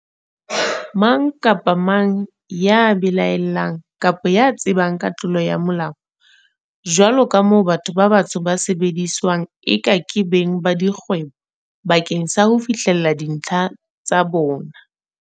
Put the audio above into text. Mang kapa mang ya belae llang kapa ya tsebang ka tlolo ya Molao, jwaloka moo batho ba batsho ba sebediswang eka ke beng ba kgwebo ba keng sa ho fihlella dintlha tsa